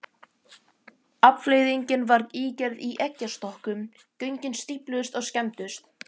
Afleiðingin varð ígerð í eggjastokkum, göngin stífluðust og skemmdust.